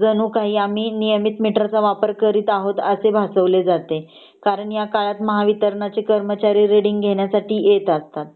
जणू काही आम्ही नियमित मिटर च वापर करत आहोत असे भासवले जाते कारण ह्या कळत महावित्रणाचे कर्मचारी रीडिंग घेणीसाठी येत असतात